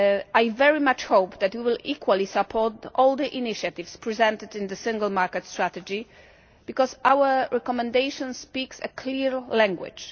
I very much hope that you will equally support all the initiatives presented in the Single Market Strategy, because our recommendation speaks a clear language.